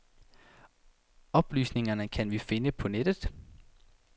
Oplysningerne kan vi finde på nettet.